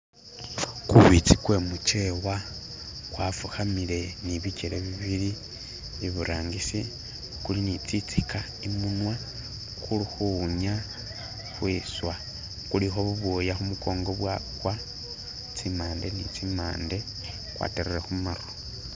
Gubizi gwe mujewa gwafukamile nibigele bibili ibutangisi guli ni zinziga imunwa gulikuwunya kwiswa. Guliko ubwoya kumugongo bwagwa zimpande ni zimpande gwatalile gumatu.